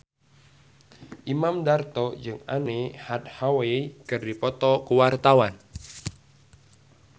Imam Darto jeung Anne Hathaway keur dipoto ku wartawan